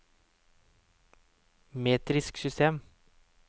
metrisk system